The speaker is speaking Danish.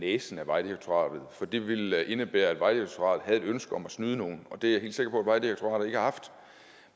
næsen af vejdirektoratet for det ville indebære at vejdirektoratet havde et ønske om at snyde nogen og det er jeg helt sikker på vejdirektoratet ikke har haft